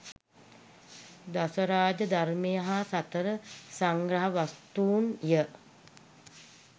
දසරාජ ධර්මය හා සතර සංග්‍රහ වස්තූන් ය.